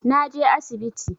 Na je asibiti